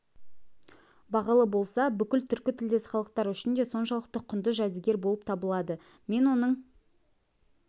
бағалы болса бүкіл түркі тілдес халықтар үшін де соншалықты құнды жәдігер болып табылады мен оның